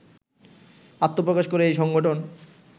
আত্মপ্রকাশ করে এই সংগঠন